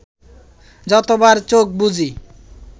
যতবার চোখ বুজি